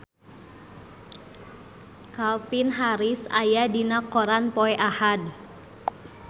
Calvin Harris aya dina koran poe Ahad